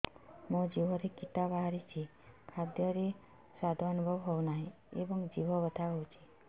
ମୋ ଜିଭରେ କିଟା ବାହାରିଛି ଖାଦ୍ଯୟରେ ସ୍ୱାଦ ଅନୁଭବ ହଉନାହିଁ ଏବଂ ଜିଭ ବଥା ହଉଛି